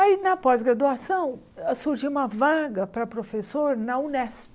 Aí na pós-graduação surgiu uma vaga para professor na Unesp.